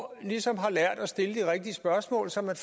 ligesom har lært at stille de rigtige spørgsmål så man